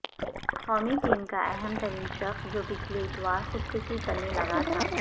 قومی ٹیم کا اہم ترین شخص جو پچھلے اتوار خودکشی کرنے لگا تھا